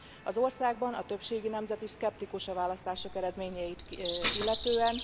Az országban a többségi nemzet is szkeptikus a választások eredményeit illetően.